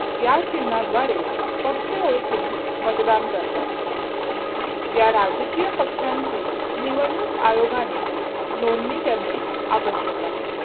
या चिन्हाद्वारे पक्ष ओळखून मतदान करतात या राजकीय पक्षांची निवडणूक आयोगाने नोंदणी करणे आवश्यक आहे.